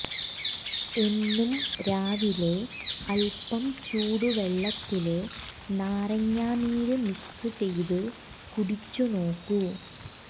എന്നും രാവിലെ അല്പം ചൂടുവെള്ളത്തില് നാരങ്ങാനീര് മിക്സ് ചെയ്ത് കുടിച്ചു നോക്കൂ